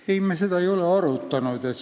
Ei, me seda ei ole arutanud.